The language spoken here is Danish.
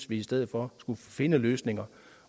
vi i stedet for skulle finde løsninger